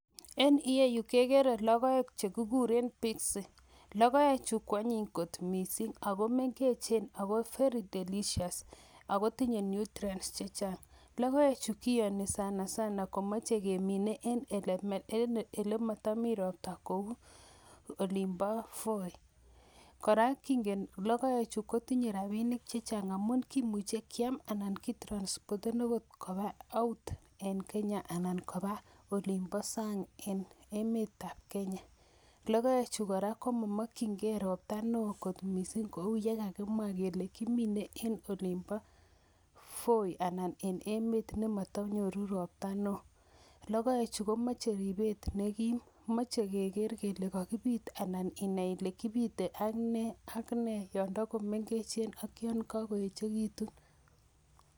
En ireu kegere logoek chekikuren Pixy, logoechu ko anyiny kot missing ako mengech ako very delicious ako tinye nutrients chechang. Logoechu kioni sanasana komoche kemine en elemotomii roptoo kou olimboo Voi. Kora kingen logoechu kotinye rabinik chechang ngamun kimuche kiam anan kiyoktoo koba sang en Kenya. Logoechu kora komomokyingei roptaa neo kot missing kou yekakimwa kele kimine en olimbo Voi anan ko emet nemotonyoru ropta neo .Logoechu komoche ripet nekim, moche keger kele kokibiit inai Ile kibite ak nee ak nee yon tokomengechen ak yon kakoyeekitun.